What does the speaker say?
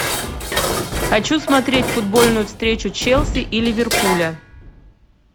хочу смотреть футбольную встречу челси и ливерпуля